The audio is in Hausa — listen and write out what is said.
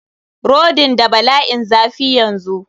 Rodin n da bala'in zafi yanzu.